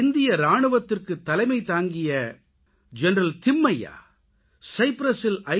இந்திய இராணுவத்துக்குத் தலைமை தாங்கிய ஜெனரல் திம்மைய்யா சைப்ரசில் ஐ